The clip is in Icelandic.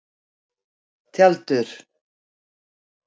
Tjaldur